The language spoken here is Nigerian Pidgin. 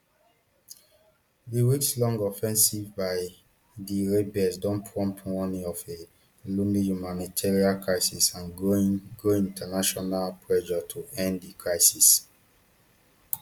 di weekslong offensive by di rebels don prompt warnings of a looming humanitarian crisis and growing growing international pressure to end di crisis